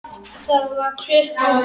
Það var klukka.